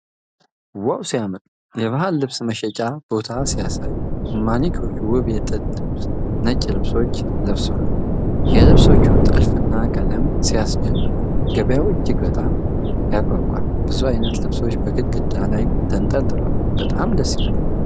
ዋው ሲያምር! የባህል ልብስ መሸጫ ቦታ ሲያሳይ! ማኒኪኖች ውብ የጥጥ ነጭ ልብሶችን ለብሰዋል። የልብሶቹ ጥልፍና ቀለም ሲያስደንቁ! ገበያው እጅግ በጣም ያጓጓል። ብዙ አይነት ልብሶች በግድግዳ ላይ ተንጠልጥለዋል። በጣም ደስ ይላል!